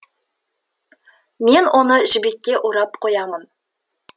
мен оны жібекке орап қоямын